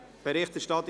«Berichterstattung